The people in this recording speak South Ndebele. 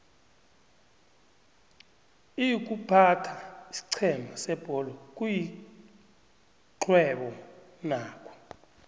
iykuphatha isiqhema sebholo kuyixhwebo nakho